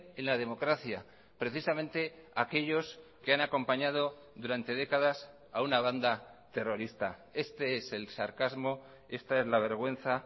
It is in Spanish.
en la democracia precisamente aquellos que han acompañado durante décadas a una banda terrorista este es el sarcasmo esta es la vergüenza